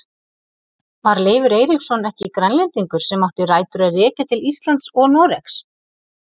Var Leifur Eiríksson ekki Grænlendingur sem átti rætur að rekja til Íslands og Noregs?